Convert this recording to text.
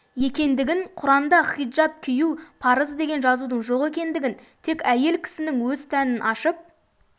екендігін құранда хиджаб кию парыз деген жазудың жоқ екендігін тек әйел кісінің өз тәнін ашып